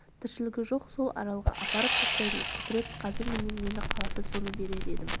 тіршілігі жоқ сол аралға апарып тастайтын құдірет қазір менен нені қаласа соны берер едім